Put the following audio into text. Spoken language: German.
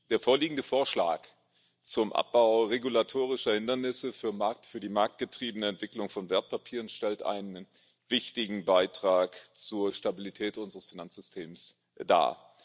Der vorliegende Vorschlag zum Abbau regulatorischer Hindernisse für die marktgetriebene Entwicklung von Wertpapieren stellt einen wichtigen Beitrag zur Stabilität unseres Finanzsystems dar.